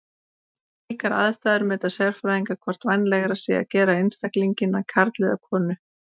Við slíkar aðstæður meta sérfræðingar hvort vænlegra sé að gera einstaklinginn að karli eða konu.